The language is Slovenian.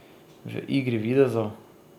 V igri videzov?